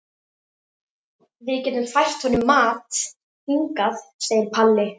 Við getum fært honum mat hingað, segir Palli.